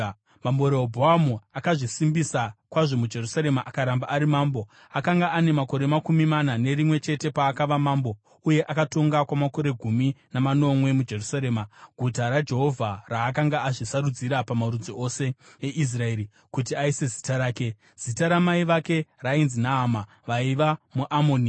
Mambo Rehobhoamu akazvisimbisa kwazvo muJerusarema akaramba ari mambo. Akanga ane makore makumi mana nerimwe chete paakava mambo uye akatonga kwamakore gumi namanomwe muJerusarema, guta raJehovha raakanga azvisarudzira pamarudzi ose eIsraeri kuti aise Zita rake. Zita ramai vake rainzi Naama; vaiva muAmoni.